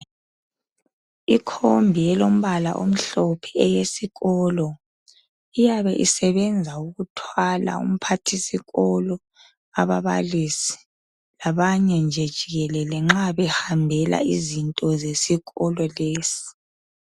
Ikhombi elombala omhlophe eyesikolo iyabe isebenza ukuthwala umphathi sikolo ababalisi labanye nje jikelele nxa behambela izinto zesikolo lesi.